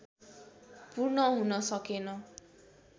पूर्ण हुन सकेन